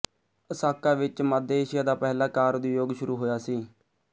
Asaka ਵਿੱਚ ਮੱਧਏਸ਼ੀਆ ਦਾ ਪਹਿਲਾ ਕਾਰ ਉਦਯੋਗ ਸ਼ੁਰੂ ਹੋਇਆ ਸੀ